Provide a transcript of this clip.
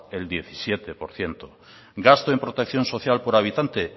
el diecisiete por ciento gasto en protección social por habitante